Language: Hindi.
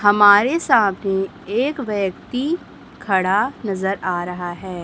हमारे साथ ही एक व्यक्ति खड़ा नजर आ रहा है।